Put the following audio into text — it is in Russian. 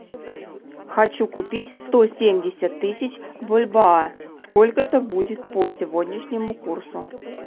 хочу купить сто семьдесят тысяч бальбоа сколько это будет по сегодняшнему курсу